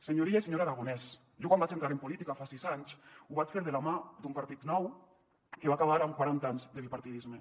senyor illa i senyor aragonès jo quan vaig entrar en política fa sis anys ho vaig fer de la mà d’un partit nou que va acabar amb quaranta anys de bipartidisme